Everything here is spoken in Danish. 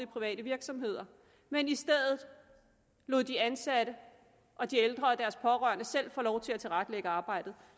private virksomheder men i stedet lod de ansatte og de ældre og deres pårørende selv få lov til at tilrettelægge arbejdet